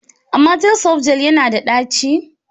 Amatel softgel yana da ɗaci?